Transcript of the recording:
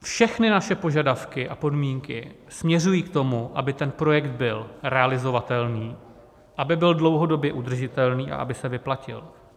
Všechny naše požadavky a podmínky směřují k tomu, aby ten projekt byl realizovatelný, aby byl dlouhodobě udržitelný a aby se vyplatil.